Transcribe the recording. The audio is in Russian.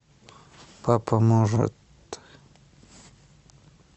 папа может